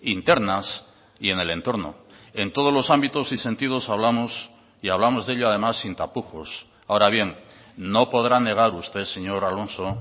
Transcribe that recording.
internas y en el entorno en todos los ámbitos y sentidos hablamos y hablamos de ello además sin tapujos ahora bien no podrá negar usted señor alonso